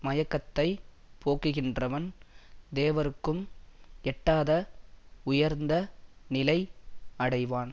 மயக்கத்தை போக்குகின்றவன் தேவர்க்கும் எட்டாத உயர்ந்த நிலை அடைவான்